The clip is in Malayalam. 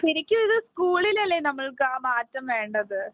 ശരിക്കും ഇത് സ്കൂളിൽ അല്ലെ നമ്മൾക്ക് ആ മാറ്റം വേണ്ടത്.